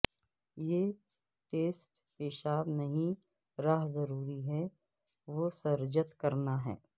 یہ ٹیسٹ پیشاب نہیں رہ ضروری ہے وسرجت کرنا ہے